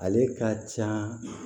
Ale ka can